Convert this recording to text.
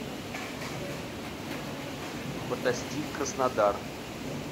фотостиль краснодар